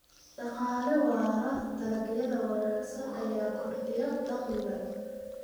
Dhaqaale waara Dalagyada wanaagsan ayaa kordhiya dakhliga.